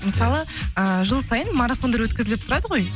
мысалы ы жыл сайын марафондар өткізіліп тұрады ғой